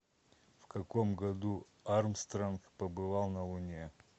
в каком году армстронг побывал на луне